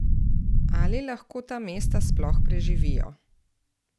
Ali lahko ta mesta sploh preživijo?